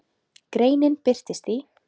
Greinin birtist í